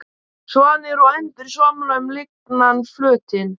Svanir og endur svamla um lygnan flötinn.